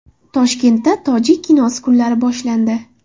Toshkentda tojik kinosi kunlari boshlandi.